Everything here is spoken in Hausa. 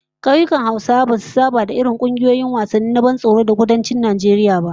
Kauyukan Hausawa basu saba da irin kungiyoyin wasannin ban tsoro irin na yankunan Kudancin Najeriya ba